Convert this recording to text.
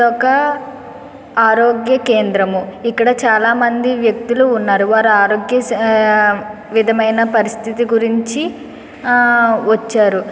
ఒక ఆరోగ్య కేంద్రం. ఇక్కడ చాలామంది వ్యక్తులు ఉన్నారు. వారి ఆరోగ్య స అ విధమైన పరిస్థితి గురించి ఆ వచ్చారు.